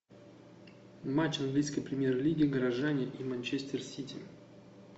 матч английской премьер лиги горожане и манчестер сити